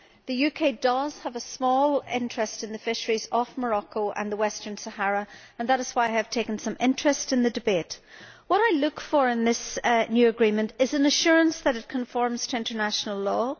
The UK does have a small interest in the fisheries off Morocco and the Western Sahara and that is why I have taken some interest in the debate. What I look for in this new agreement is an assurance that it conforms to international law